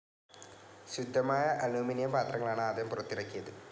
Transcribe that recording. ശുദ്ധമായ അലുമിനിയം പാത്രങ്ങളാണ് ആദ്യം പുറത്തിറക്കിയത്.